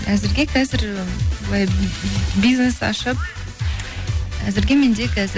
әзірге қазір былай бизнес ашып әзірге менде қазір